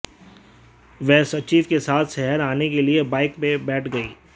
वह सचिव के साथ शहर आने के लिए बाइक में बैठ गई